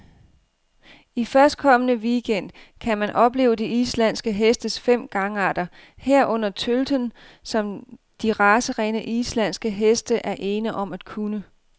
I førstkommende weekend gang kan man opleve de islandske hestes fem gangarter, herunder tølten, som de racerene, islandske heste er ene om at kunne.